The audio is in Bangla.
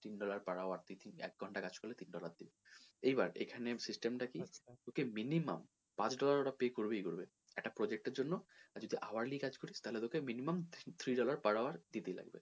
তিন dollar per hour তুই এক ঘণ্টা কাজ করলে তিন dollar দিবে এইবার এখানে system টা কী তোকে minimum customer ওটা pay করবেই করবে একটা project এর জন্য আর যদি hourly কাজ করিস তাহলে তোকে minimum three dollar per hour দিতেই লাগবে।